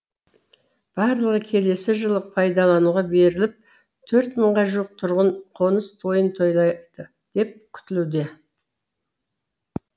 барлығы келесі жылы пайдалануға беріліп төрт мыңға жуық тұрғын қоныс тойын тойлайды деп күтілуде